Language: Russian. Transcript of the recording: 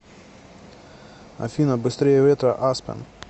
афина быстрее ветра аспен